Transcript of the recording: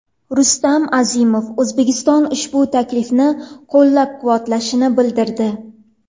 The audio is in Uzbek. Rustam Azimov O‘zbekiston ushbu taklifni qo‘llab-quvvatlashini bildirdi.